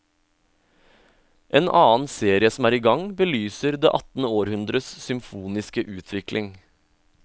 En annen serie som er i gang, belyser det attende århundres symfoniske utvikling.